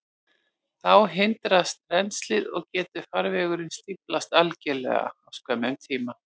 Þá hindrast rennslið, og getur farvegurinn stíflast algjörlega á skömmum tíma.